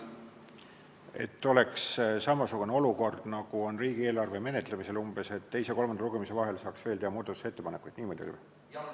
Et oleks umbes samasugune olukord, nagu on riigieelarve menetlemisel, et teise ja kolmanda lugemise vahel saaks veel teha muudatusettepanekuid, niimoodi või?